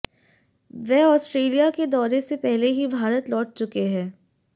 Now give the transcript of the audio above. वे Australia के दौरे से पहले ही भारत लौट चुके हैं